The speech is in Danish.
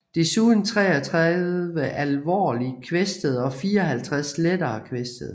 Desuden 33 alvorligt kvæstede og 54 lettere kvæstede